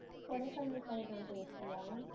Kodaikanal side லாம் போயிருக்கியா